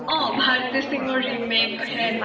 Bharti Singh remake হেন